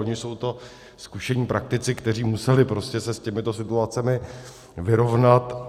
Oni jsou to zkušení praktici, kteří se museli s těmito situacemi vyrovnat.